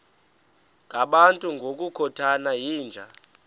ngabantu ngokukhothana yinja